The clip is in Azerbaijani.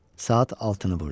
Saat altını vurdu.